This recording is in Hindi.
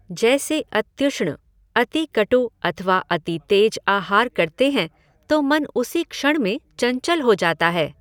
जैसे अत्युष्ण, अति कटु अथवा अति तेज आहार करते हैं तो मन उसी क्षण में चञ्चल हो जाता है।